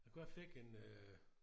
Jeg jeg fik en øh